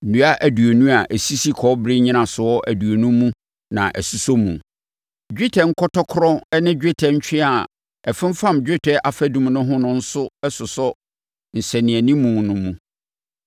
Nnua aduonu a ɛsisi kɔbere nnyinasoɔ aduonu mu na ɛsosɔ mu. Dwetɛ nkɔtɔkorɔ ne dwetɛ ntweaa a ɛfomfam dwetɛ afadum no ho no nso sosɔ nsɛnanimu no mu.